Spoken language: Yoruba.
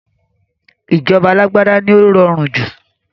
Ìjọba alágbádá ni ó rọrùn jù